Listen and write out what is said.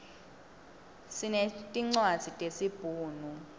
sinetincwadzi tesi bhunu